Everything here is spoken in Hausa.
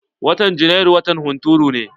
Watan Janairu watan hunturu ne.